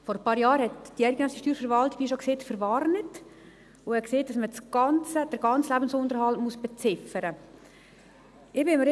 Vor ein paar Jahren verwarnte uns die eidgenössische Verwaltung – wie schon gesagt – und sagte, dass man den ganzen Lebensunterhalt beziffern muss.